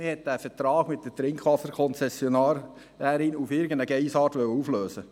Man wollte den Vertrag mit der Trinkwasserkonzessionärin auf irgendeine «Geissart» auflösen.